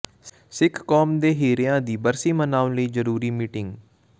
ਸਿੱਖ ਕੌਮ ਦੇ ਹੀਰਿਆਂ ਦੀ ਬਰਸੀ ਮਨਾਉਣ ਲਈ ਜ਼ਰੂਰੀ ਮੀਟਿੰਗ